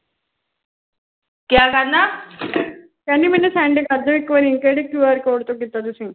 ਕਹਿੰਦੀ ਮੈਨੂੰ send ਕਰਦਿਓ ਇੱਕ ਵਾਰੀ ਕਿਹੜੇ Q R Code ਤੋਂ ਕੀਤਾ ਤੁਸੀਂ ਚੱਲ ਠੀਕ ਐ ਆਹੋ ਮੈਂ ਕਿਹਾ ਕਰਕੇ ਵਿਹਲੇ ਹੋਈਏ ਬਸ ਹੋ ਗਈ